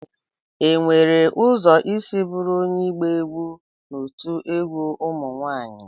Enwere ụzọ isi bụrụ onye ịgba egwu n'otu egwu ụmụ nwanyị?